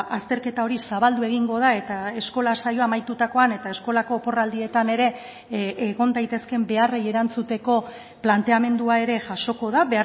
azterketa hori zabaldu egingo da eta eskola saioa amaitutakoan eta eskolako oporraldietan ere egon daitezkeen beharrei erantzuteko planteamendua ere jasoko da